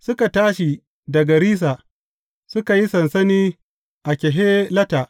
Suka tashi daga Rissa, suka yi sansani a Kehelata.